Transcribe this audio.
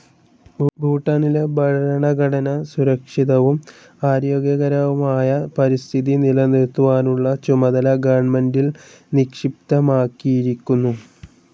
ഭൂട്ടാനിലെ ഭരണഘടന സുരക്ഷിതവും ആരോഗ്യകരവുമായ പരിസ്ഥിതി നിലനിർത്തുവാനുള്ള ചുമതല ഗവൺമെൻ്റിൽ നിക്ഷിപ്തമാക്കിയിരിക്കുന്നു.